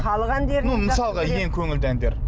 халық әндері ну мысалға ең көңілді әндер